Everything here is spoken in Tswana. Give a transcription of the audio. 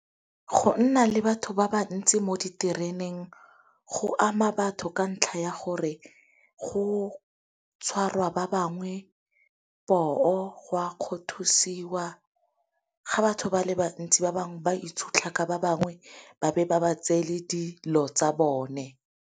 Go nna le batho ba ba ntsi mo ditereneng go ama batho ka ntlha ya gore go tshwarwa ba bangwe poo, go a kgothosiwa ga batho ba le bantsi ba bangwe ba itshutlha ka ba bangwe ba be ba ba tseele dilo tsa bone.